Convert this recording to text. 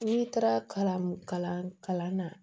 N'i taara kalan kalan na